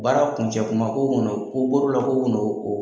Baara kuncɛ kuma ko